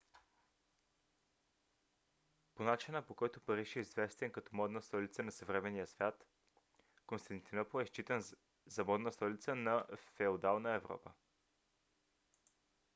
по начина по който париж е известен като модна столица на съвременния свят константинопол е считан за модна столица на феодална европа